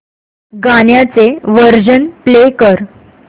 गाण्याचे version play कर